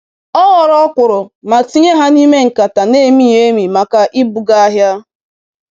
O ghọọrọ ọkwụrụ ma tinye ha n'ime nkata n'emighị emi maka ibuga ahịa.